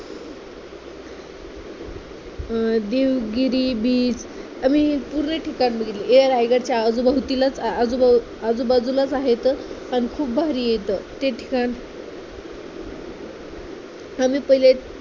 अं Devgiri beach आणि पूर्ण ठिकाण बघितले, हे रायगडच्या आजूबाजूभोवतीलाच आजूबाजू आजूबाजूला आहेत. पण खूप भारी आहे इथं ते ठिकाण आम्ही पाहिले